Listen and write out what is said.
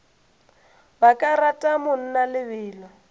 ba ka rata mna lebelo